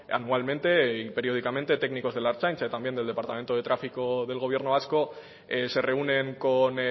anualmente y periódicamente técnicos de la ertzaintza y también del departamento de tráfico del gobierno vasco se reúnen con